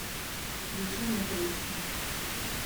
включи мне трещины